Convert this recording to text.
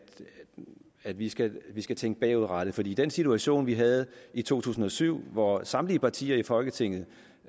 at vi skal skal tænke bagudrettet for i den situation vi havde i to tusind og syv hvor samtlige partier i folketinget